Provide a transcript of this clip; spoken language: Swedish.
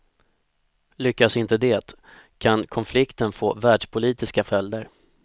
Lyckas inte det, kan konflikten få världspolitiska följder.